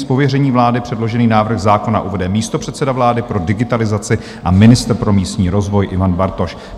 Z pověření vlády předložený návrh zákona uvede místopředseda vlády pro digitalizaci a ministr pro místní rozvoj Ivan Bartoš.